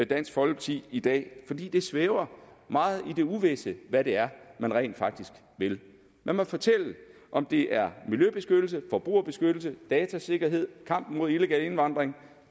dansk folkeparti i dag fordi det svæver meget i det uvisse hvad det er man rent faktisk vil man må fortælle om det er miljøbeskyttelse forbrugerbeskyttelse datasikkerhed kampen mod illegal indvandring